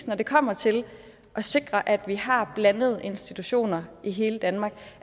når det kommer til at sikre at vi har blandede institutioner i hele danmark